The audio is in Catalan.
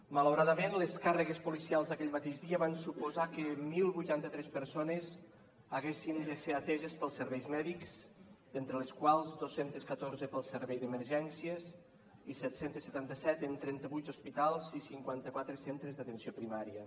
malauradament les càrregues policials d’aquell mateix dia van suposar que deu vuitanta tres persones haguessin de ser ateses pels serveis mèdics entre les quals dos cents i catorze pel servei d’emergències i set cents i setanta set en trenta vuit hospitals i cinquanta quatre en centres d’atenció primària